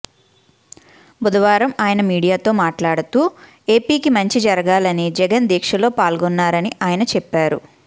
బుధవారం ఆయన మీడియాతో మాట్లాడుతూ ఏపీకి మంచి జరగాలని జగన్ దీక్షలో పాల్గొన్నారని ఆయన చెప్పారు